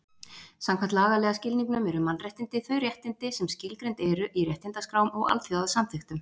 Samkvæmt lagalega skilningnum eru mannréttindi þau réttindi sem skilgreind eru í réttindaskrám og alþjóðasamþykktum.